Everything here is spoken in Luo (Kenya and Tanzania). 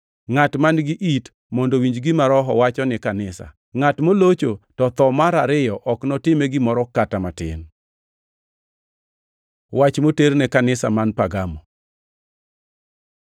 Ngʼat man-gi it mondo owinj gima Roho wacho ni kanisa. Ngʼat molocho to tho mar ariyo ok notime gimoro kata matin. Wach moter ne kanisa man Pergamo